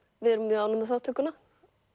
við erum mjög ánægð með þátttökuna